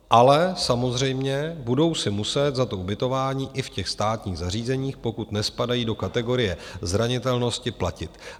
Ale samozřejmě budou si muset za to ubytování i v těch státních zařízeních, pokud nespadají do kategorie zranitelnosti, platit.